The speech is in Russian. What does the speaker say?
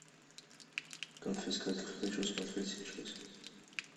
конфискатор хочу смотреть сейчас